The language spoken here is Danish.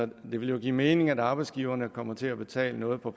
det ville jo give mening at arbejdsgiverne kommer til at betale noget på